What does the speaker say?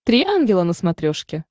три ангела на смотрешке